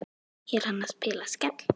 Er hann að spila Skell?